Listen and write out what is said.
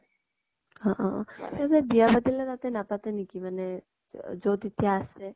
অ অ । এই যে বিয়া পাতিলে তাত নাপাতে নেকি মানে যʼত এতিয়া আছে ?